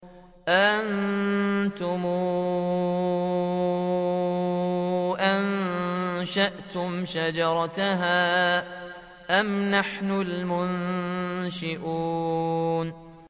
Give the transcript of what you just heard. أَأَنتُمْ أَنشَأْتُمْ شَجَرَتَهَا أَمْ نَحْنُ الْمُنشِئُونَ